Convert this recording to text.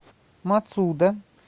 мацудо